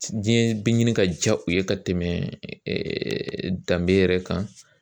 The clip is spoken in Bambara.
Diɲɛ bɛ ɲini ka diya u ye ka tɛmɛ danbe yɛrɛ kan